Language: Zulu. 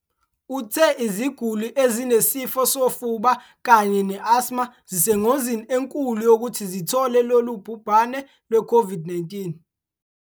Uthe iziguli ezinesifo sofuba kanye ne-asthma zisengozini enkulu yokuthi zithole lolu bhubhane lwe-COVID-19.